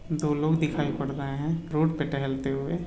दो लोग दिखाई पड़ रहे है रोड पे टहलते हुए।